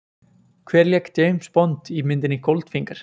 Hver lék James Bond í myndinni Goldfinger?